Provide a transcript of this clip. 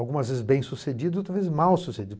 Algumas vezes bem sucedido, outras vezes mal sucedido.